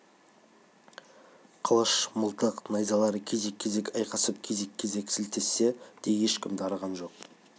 қылыш мылтық найзалар кезек-кезек айқасып кезек-кезек сілтессе де ешкімге дарыған жоқ